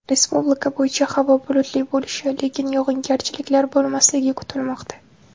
Respublika bo‘yicha havo bulutli bo‘lishi, lekin yog‘ingarchiliklar bo‘lmasligi kutilmoqda.